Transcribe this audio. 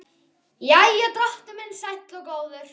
Jæja, drottinn minn sæll og góður.